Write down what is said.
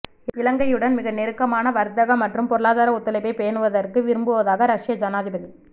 இலங்கையுடன் மிக நெருக்கமான வர்த்தக மற்றும் பொருளாதார ஒத்துழைப்பை பேணுவதற்கு விரும்புவதாக ரஷ்ய ஜனாதிப